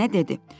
Nənə dedi: